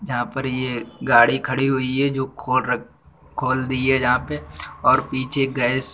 जहाँ पर ये गाड़ी खड़ी हुई है जो खोल रख खोल दिए जहाँ पे और पीछे गैस --